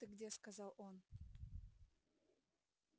вот ты где сказал он